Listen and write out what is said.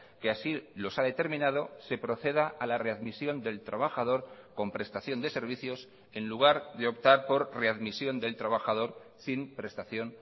que así los ha determinado se proceda a la readmisión del trabajador con prestación de servicios en lugar de optar por readmisión del trabajador sin prestación